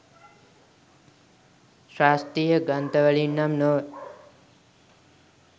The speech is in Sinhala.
ශාස්ත්‍රීය ග්‍රන්ථවලින් නම් නොව